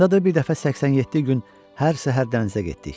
Yadındadır, bir dəfə 87 gün hər səhər dənizə getdik.